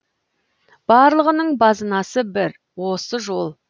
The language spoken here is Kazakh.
барлығының базынасы бір осы жол